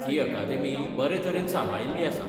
ती अकादेमी बरे तरेन सांबाळिल्ली आसा.